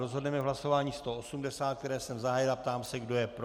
Rozhodneme v hlasování 180, které jsem zahájil, a ptám se, kdo je pro.